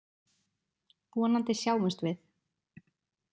Vonandi sjáumst við.